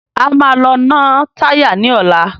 A máa lọ ná táyà ní ọ̀la.